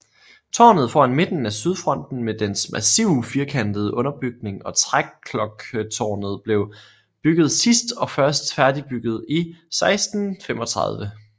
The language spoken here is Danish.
Tårnet foran midten af sydfronten med dens massive firkantede underbygning og træklokketårnet blev bygget sidst og først færdigbygget i 1635